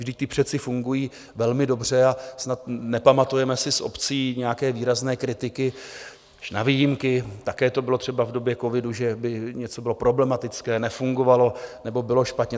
Vždyť ty přece fungují velmi dobře a snad nepamatujeme si z obcí nějaké výrazné kritiky - až na výjimky, také to bylo třeba v době covidu - že by něco bylo problematické, nefungovalo nebo bylo špatně.